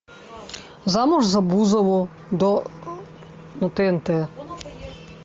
замуж за бузову на тнт